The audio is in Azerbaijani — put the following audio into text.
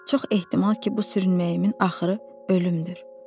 Çox ehtimal ki, bu sürünməyimin axırı ölümdür.